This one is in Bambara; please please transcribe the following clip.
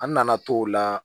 An nana t'o la